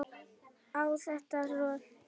og átti að troða strý